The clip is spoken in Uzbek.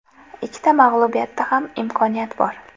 Ikkita mag‘lubiyatda ham imkoniyat bor.